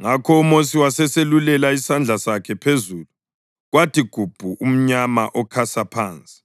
Ngakho uMosi waseselulela isandla sakhe phezulu, kwathi gubu umnyama okhasa phansi,